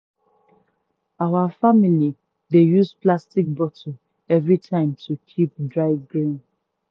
our family dey save plastic bottle every time to use keep dry grain.